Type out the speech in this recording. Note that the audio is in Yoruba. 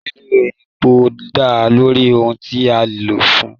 Lílo èpò dá lórí ohùn tí a lò fún.